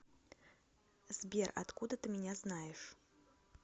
сбер откуда ты меня знаешь